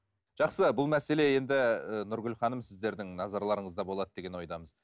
жақсы бұл мәселе енді ы нұргүл ханым сіздердің назарларыңызда болады деген ойдамыз